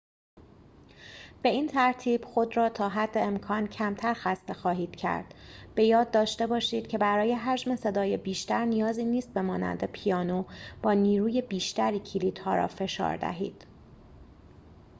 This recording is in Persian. به این ترتیب خود را تا حد امکان کمتر خسته خواهید کرد به یاد داشته باشید که برای حجم صدای بیشتر نیازی نیست به مانند پیانو با نیروی بیشتری کلیدها را فشار دهید